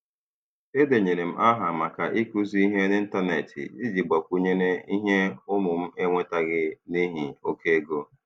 E denyere m aha maka ịkụzi ihe n'Ịntanet iji gbakwunyere ihe ụmụ m enwetaghị n'ihi oke ego.